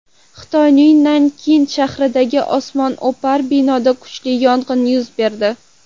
Xitoyning Nankin shahridagi osmono‘par binoda kuchli yong‘in yuz berdi .